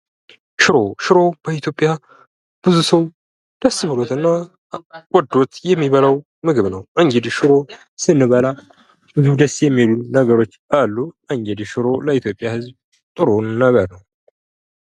ሽሮ ሽሮ በ ኢትዮጵያ ብዙ ሰው ደስ ብሎት እና ወዶት የሚበላው ምግብ ነው:: እንግዲህ ሽሮ ስንበላ ብዙ ደስ ሚሉ ነገሮች አሉ:: እንግዲህ ሽሮ ሌ ኢትዮጵያ ሕዝብ ቆንጆ መብል ነው::